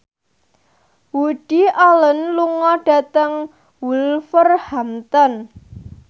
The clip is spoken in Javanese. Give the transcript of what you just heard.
Woody Allen lunga dhateng Wolverhampton